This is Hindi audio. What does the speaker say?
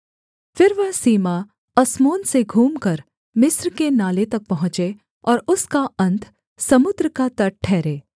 फिर वह सीमा अस्मोन से घूमकर मिस्र के नाले तक पहुँचे और उसका अन्त समुद्र का तट ठहरे